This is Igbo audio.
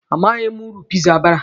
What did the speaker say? Amaghị m uru piza bara.